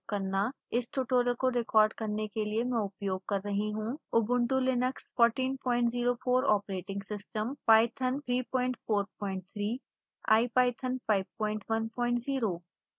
इस tutorial को record करने के लिए मैं उपयोग कर रही हूँ